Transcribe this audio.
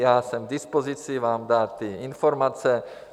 Já jsem k dispozici vám dát ty informace.